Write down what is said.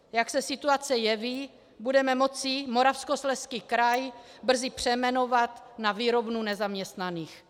Jak se situace jeví, budeme moci Moravskoslezský kraj brzy přejmenovat na výrobnu nezaměstnaných.